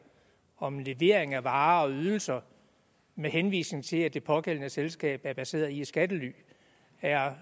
om levering af varer og ydelser med henvisning til at det pågældende selskab er baseret i et skattely er